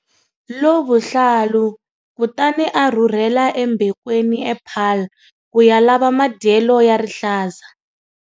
Lovuhlalu, kutani a rhurhela eMbekweni ePaarl ku ya lava madyelo ya rihlaza.